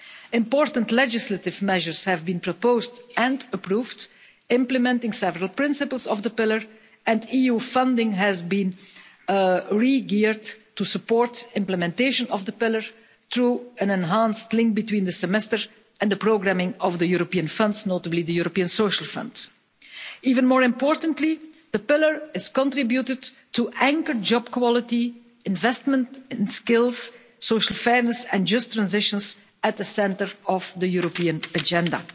Important legislative measures have been proposed and approved, implementing several principles of the Pillar, and EU funding has been re-geared to support implementation of the Pillar through an enhanced link between the semester and the programming of the European funds, notably the European Social Fund. Even more importantly, the Pillar has contributed to anchor job quality, investment in skills, social fairness and just transitions at the centre of the European agenda.